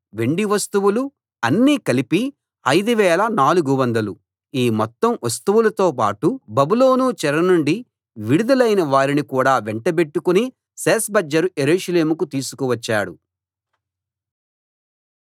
బంగారు వెండి వస్తువులు అన్నీ కలిపి 5 400 ఈ మొత్తం వస్తువులతోపాటు బబులోను చెర నుండి విడుదలైన వారిని కూడా వెంటబెట్టుకుని షేష్బజ్జరు యెరూషలేముకు తీసుకువచ్చాడు